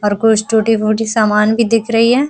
और कुछ टूटी-फूटी समान भी दिख रही है।